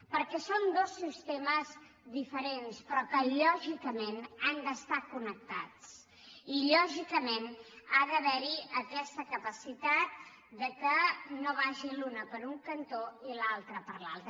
perquè són dos sistemes diferents però que lògicament han d’estar connectats i lògicament ha d’haver hi aquesta capacitat que no vagi l’una per un cantó i l’altra per l’altre